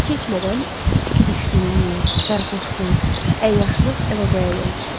Çox keçmədən içki düşkünlüyü, sərxoşluq, əyyaşlıq el-obaya yoluxdu.